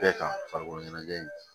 Bɛɛ kan farikolo ɲɛnajɛ in